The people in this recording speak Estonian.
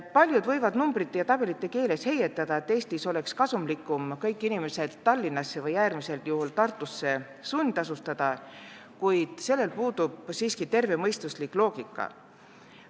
Paljud võivad numbrite ja tabelite keeles heietada, et Eestis oleks kasumlik kõik inimesed Tallinnasse ja äärmisel juhul ka Tartusse sundasustada, kuid sellel puudub siiski tervemõistuslik loogika.